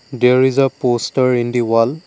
there is a poster in the wall.